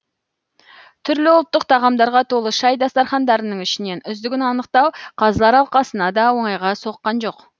түрлі ұлттық тағамдарға толы шай дастархандарының ішінен үздігін анықтау қазылар алқасына да оңайға соққан жоқ